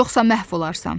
Yoxsa məhv olarsan.